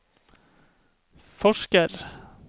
forsker